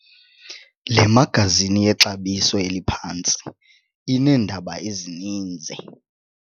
Le magazini yexabiso eliphantsi ineendaba ezininzi.